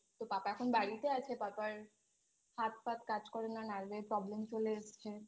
তো পাপা এখন বাড়িতে আছে পাপার হাত ফাত কাজ করে না Nerve এর problem চলে এসছে